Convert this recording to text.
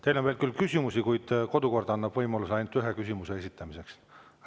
Teile on küll veel küsimusi, kuid kodukord annab võimaluse ainult ühe küsimuse esitamiseks.